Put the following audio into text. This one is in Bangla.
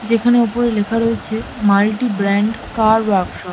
যেখানে ওপরে লেখা রয়েছে মাল্টি ব্র্যান্ড কার ওয়ার্কশপ ।